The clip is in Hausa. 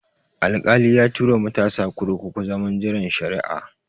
Alkali ya tura matasa kurkuku zaman jiran shari'a